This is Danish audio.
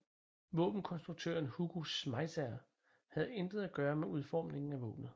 Våbenkonstruktøren Hugo Schmeisser havde intet at gøre med udformningen af våbenet